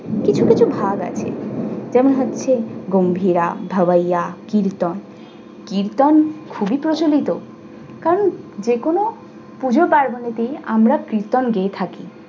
কিছু কিছু ভাগ আছে যেমন হচ্ছে গম্ভীরা, ভাওয়াইয়া, কীর্তন। কীর্তন খুবই প্রচলিত কারণ যে কোনো পুজো পার্বনেতে আমরা কীর্তন গেয়ে থাকি।